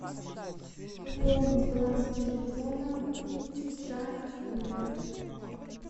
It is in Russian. пополнить баланс телефона сестра юля